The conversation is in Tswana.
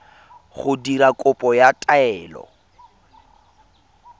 go dira kopo ya taelo